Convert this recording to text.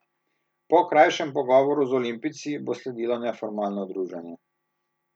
Po krajšem pogovoru z olimpijci bo sledilo neformalno druženje.